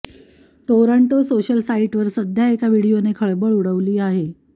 Toronto social साईटवर सध्या एका व्हिडीओने खळबळ उडवली आहे